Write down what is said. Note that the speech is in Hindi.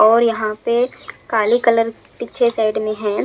और यहाँ पे काली कलर पीछे साइड में है।